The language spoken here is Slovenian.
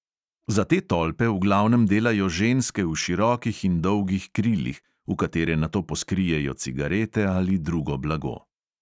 Za te tolpe v glavnem delajo ženske v širokih in dolgih krilih, v katere nato poskrijejo cigarete ali drugo blago.